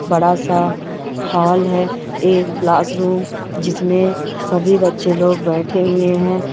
बड़ासा हॉल है एक क्लास रूम जिसमे सभी बच्चे लोग बैठे हुए है।